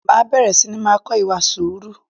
Máa bẹ̀rẹ̀ sini máa kọ ìwà sùúrù